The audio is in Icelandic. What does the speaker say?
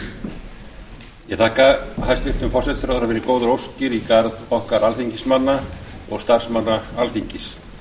ég þakka hæstvirtum forsætisráðherra fyrir góðar óskir í garð okkar alþingismanna og starfsmanna alþingis